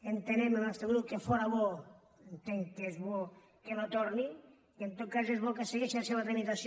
entenem el nostre grup que fóra bo entenc que és bo que no torni que en tot cas és bo que segueixi la seva tramitació